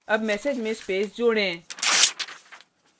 add message में space जोड़ें